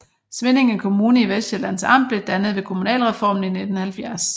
Svinninge Kommune i Vestsjællands Amt blev dannet ved kommunalreformen i 1970